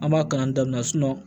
An b'a kalan daminɛ sinɔn